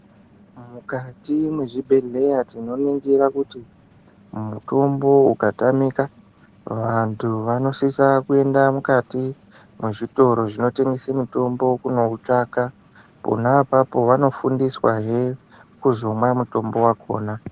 Mukati mezvibhedhleya tinoningira kuti mutombo ukatamika vantu vanosisa kuenda mukati mwezvitoro zvinotendese mitombo kunoutsvaka. Pona apapo vanofundiswahe kuzomwa mutombo vakona.